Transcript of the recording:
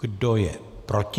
Kdo je proti?